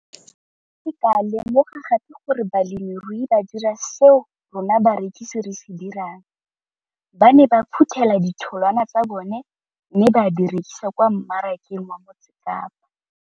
Ke ne ka lemoga gape gore balemirui ba dira seo rona barekisi re se dirang - ba ne ba phuthela ditholwana tsa bona mme ba di rekisa kwa marakeng wa Motsekapa.